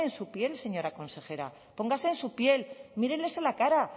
su piel señora consejera póngase en su piel míreles a la cara